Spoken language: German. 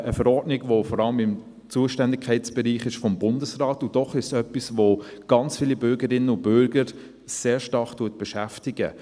eine Verordnung, die vor allem im Zuständigkeitsbereich des Bundesrates ist, und doch ist es etwas, das ganz viele Bürgerinnen und Bürger sehr stark beschäftigt.